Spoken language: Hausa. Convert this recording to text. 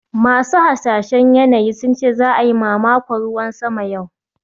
Masu hasashen yanayi sun ce za a yi mamakon ruwan sama yau